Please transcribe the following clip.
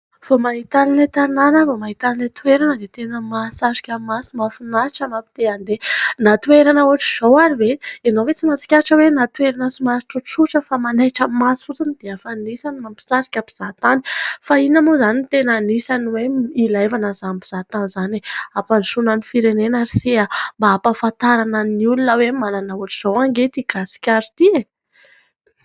Vao mahita an' ilay tanàna aho, vao mahita an' ilay toerana dia tena mahasarika maso ; mahafinaritra ; maha te handeha. Na toerana ohatran' izao ary ve ? Ianao ve tsy mahatsikaritra hoe na toerana somary tsotsotra fa manaitra maso fotsiny dia efa anisany mahasarika mpizahatany ? Fa inona moa izany no tena anisany hoe ilàna an' izany mpizahatany izany ? Hampandrosoana ny firenena ry se ah ! mba hampahafantarana ny olona hoe manana ohatr' izao anie ity gasikara ity e !